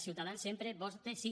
ciutadans sempre vota sí